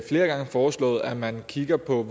flere gange foreslået at man kigger på